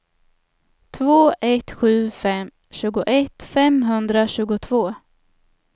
två ett sju fem tjugoett femhundratjugotvå